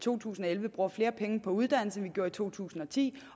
to tusind og elleve bruger flere penge på uddannelse end vi gjorde i to tusind og ti